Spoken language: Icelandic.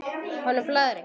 Honum blæðir ekki.